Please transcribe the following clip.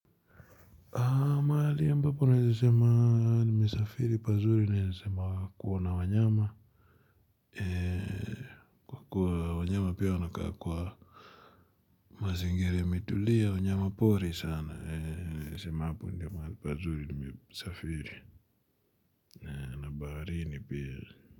Mahali ambapo naeza sema nimesafiri pazuri naeza sema kuona wanyama. Kwa wanyama pia wanakaa kwa mazingira imetulia wanyama pori sana. Naeza sema hapo ndyo mahali pazuri nimesafiri. Baharini pia.